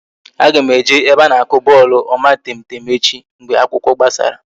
Aga m eje ebe a na-akụ bọọlụ omatemtem echi mgbe akwụkwọ gbasara